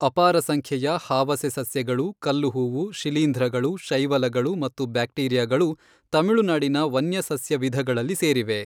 ಅಪಾರ ಸಂಖ್ಯೆಯ ಹಾವಸೆಸಸ್ಯಗಳು, ಕಲ್ಲುಹೂವು, ಶಿಲೀಂಧ್ರಗಳು, ಶೈವಲಗಳು ಮತ್ತು ಬ್ಯಾಕ್ಟೀರಿಯಾಗಳು ತಮಿಳುನಾಡಿನ ವನ್ಯ ಸಸ್ಯ ವಿಧಗಳಲ್ಲಿ ಸೇರಿವೆ.